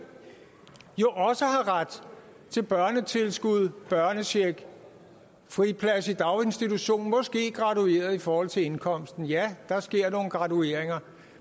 jo også har ret til børnetilskud børnecheck friplads i daginstitution som måske er gradueret i forhold til indkomsten ja der sker nogle gradueringer